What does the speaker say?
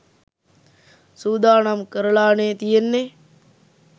සූදානම් කරලානේ තියෙන්නේ.